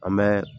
An bɛ